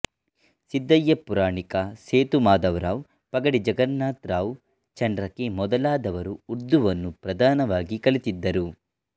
ಸಿದ್ದಯ್ಯ ಪುರಾಣಿಕ ಸೇತುಮಾಧವರಾವ್ ಪಗಡಿ ಜಗನ್ನಾಥರಾವ್ ಚಂಡ್ರಕಿ ಮೊದಲಾದವರು ಉರ್ದುವನ್ನು ಪ್ರಧಾನವಾಗಿ ಕಲಿತಿದ್ದರು